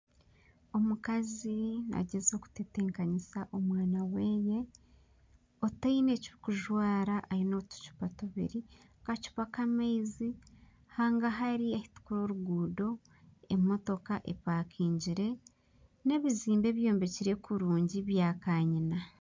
Omukazi nagyezaho kutebekanisa omwana we otaine eky'okujwara aine otucupa tubiri , akacupa k'amaizi hangahari ahu turikureba oruguuto emotoka epakingire na ebizimbe byombekire kurungi ebya kanyina.